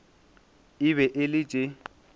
e be e le tše